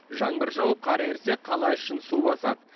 жаңбыр жауып қар ерісе қала ішін су басады